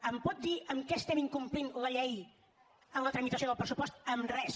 em pot dir en què estem incomplint la llei amb la tramitació del pressupost en res